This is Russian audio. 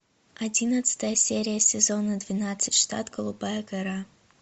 одиннадцатая серия сезона двенадцать штат голубая гора